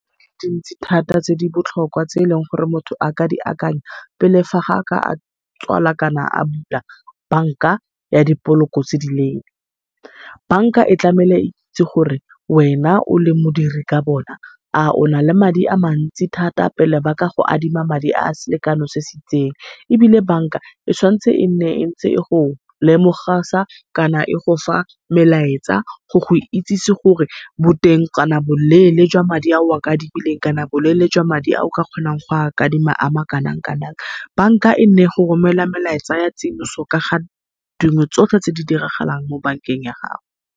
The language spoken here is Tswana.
Dintsi thata tse dibotlhokwa tse eleng gore motho a ka di akanya, pele fa a ka tswala kana a bula bank-a ya dipoloko . Bank-a e tlamehile eitsi gore wena o le modiri ka bona a ona e madi a mantsi thata pele ba ka go adima madi a selekano se se itseng. Ebile banka e tshwanetse e nne entse e go lemogisa melaetsa go go itsisi gore boteng kana boleele jwa madi a o a adimileng, kana boleele jwa madi a o ka kgonang go a adima a ma kanang-kanang. Banka e nne e go romela melaetsa ka tsiboso ka ga dilo tsotlhe tse di diragalang mo bank-eng ya gago.